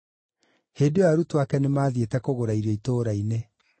(Hĩndĩ ĩyo arutwo ake nĩmathiĩte kũgũra irio itũũra-inĩ.)